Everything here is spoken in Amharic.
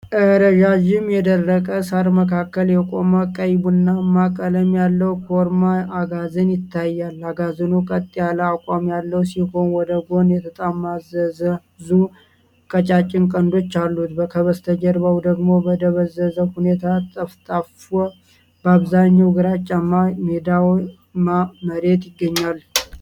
ረዣዥም የደረቀ ሣር መካከል የቆመ ቀይ ቡናማ ቀለም ያለው ኮርማ አጋዘን ይታያል። አጋዘኑ ቀጥ ያለ አቋም ያለው ሲሆን፣ ወደ ጎን የተጠማዘዙ ቀጫጭን ቀንዶች አሉት። ከበስተጀርባው ደግሞ በደበዘዘ ሁኔታ ጠፍጣፋ፣ በአብዛኛው ግራጫማ ሜዳማ መሬት ይገኛል።